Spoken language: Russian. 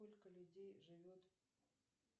сколько людей живет